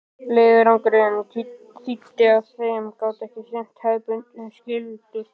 Leiðangurinn þýddi að þeir gátu ekki sinnt hefðbundnum skyldustörfum.